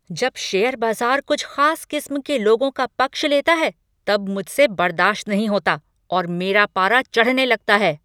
जब शेयर बाजार कुछ खास किस्म के लोगों का पक्ष लेता है तब मुझसे बर्दाश्त नहीं होता और मेरा पारा चढ़ने लगता है।